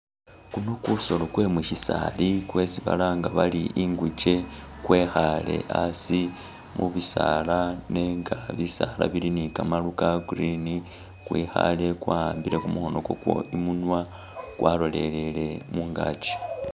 Ukuno kusoolo kwe musisaali kwesi balanga bari inguche kwekhaale asi mubisaala nenga bisaala bili ne kamaru ka green , kwekhaale kwawambile kumukhono ukwako imunwa kwalolele mungaki.